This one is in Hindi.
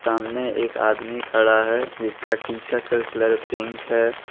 सामने एक आदमी खड़ा है जिसका टी शर्ट का कलर पिंक है।